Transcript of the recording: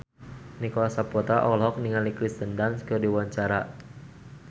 Nicholas Saputra olohok ningali Kirsten Dunst keur diwawancara